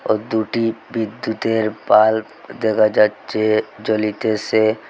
ও দুটি বিদ্যুতের বাল্ব দেখা যাচ্ছে জ্বলিতেসে।